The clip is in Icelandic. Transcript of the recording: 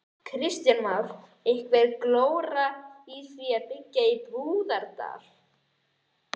Kristján Már: Einhver glóra í því að byggja í Búðardal?